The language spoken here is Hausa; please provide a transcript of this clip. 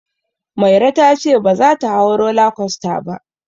Mairo ta ce baza ta hau roller coaster ba.